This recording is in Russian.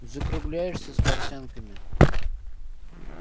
закругляешься с портянками